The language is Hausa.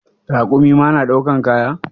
Rakumi ma na daukan kaya?